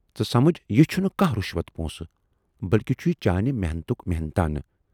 ژٕ سمجھ یہِ چھُنہٕ کانہہ رِشوت پونسہِ بٔلۍکہِ چھُ چانہِ محنتُک محنتایہِ۔